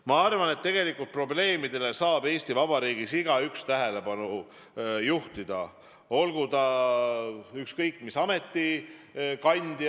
Ma arvan, et tegelikult saab probleemidele Eesti Vabariigis igaüks tähelepanu juhtida, olgu ta ükskõik mis ameti kandja.